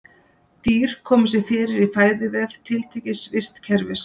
Dýr koma sér fyrir í fæðuvef tiltekins vistkerfis.